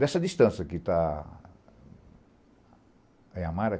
Dessa distância que está... É Amara?